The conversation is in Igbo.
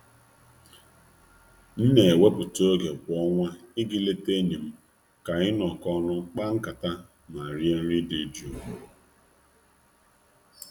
M n'ewepụta oge kwa ọnwa i ga ileta enyi m ka anyị nọk'ọnụ kpaa nkata ma rie nri dị jụụ.